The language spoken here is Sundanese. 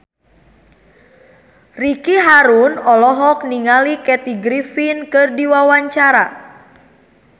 Ricky Harun olohok ningali Kathy Griffin keur diwawancara